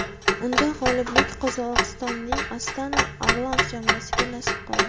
Unda g‘oliblik Qozog‘istonning Astana Arlans jamoasiga nasib qildi.